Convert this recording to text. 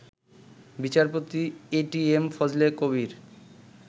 বিচারপতি এটিএম ফজলে কবীর